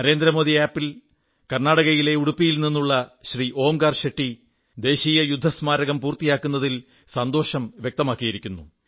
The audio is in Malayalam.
നരേന്ദ്രമോദി ആപ് ൽ കർണ്ണാടകയിലെ ഉടുപ്പിയിൽ നിന്നുള്ള ശ്രീ ഓംകാർ ഷെട്ടി ദേശീയ യുദ്ധസ്മാരം പൂർത്തിയാകുന്നതിൽ സന്തോഷം വ്യക്തമാക്കിയിരിക്കുന്നു